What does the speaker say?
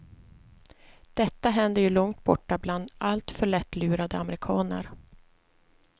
Detta händer ju långt borta bland alltför lättlurade amerikaner.